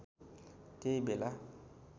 त्यही बेला